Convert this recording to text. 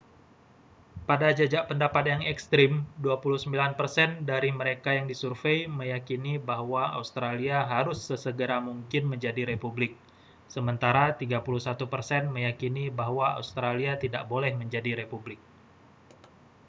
pada jajak pendapat yang ekstrem 29 persen dari mereka yang disurvei meyakini bahwa australia harus sesegera mungkin menjadi republik sementara 31 persen meyakini bahwa australia tidak boleh menjadi republik